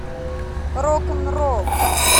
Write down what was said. рок н ролл